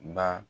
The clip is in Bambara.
Ba